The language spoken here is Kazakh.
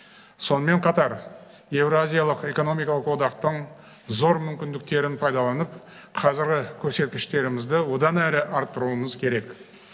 сонымен қатар евразиялық экономикалық одақтың зор мүмкіндіктерін пайдаланып қазіргі көрсеткіштерімізді одан әрі арттыруымыз керек